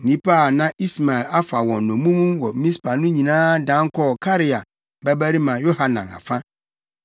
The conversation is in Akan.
Nnipa a na Ismael afa wɔn nnommum wɔ Mispa no nyinaa dan kɔɔ Karea babarima Yohanan afa.